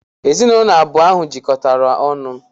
Ezinụlọ abụọ ahụ jikọtara ọnụ.